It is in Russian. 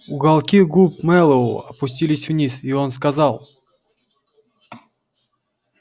уголки губ мэллоу опустились вниз и он сказал